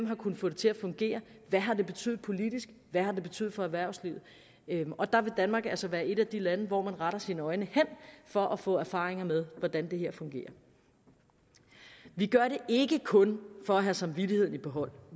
har kunnet få det til at fungere hvad har det betydet politisk hvad har det betydet for erhvervslivet der vil danmark altså være et af de lande hvor man retter sine øjne hen for at få erfaringer med hvordan det her fungerer vi gør det ikke kun for at have samvittigheden i behold